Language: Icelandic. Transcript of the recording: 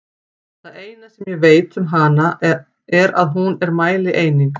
Það eina sem ég veit um hana er að hún er mælieining!